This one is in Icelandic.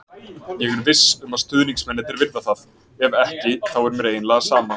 Ég er viss um að stuðningsmennirnir virða það, ef ekki þá er mér eiginlega sama,